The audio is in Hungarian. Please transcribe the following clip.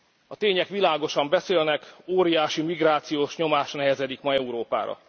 A tények világosan beszélnek, óriási migrációs nyomás nehezedik ma Európára.